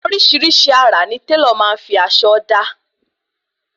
Orísirísi àrà ni Tẹ́lọ̀ maá fi aṣọ da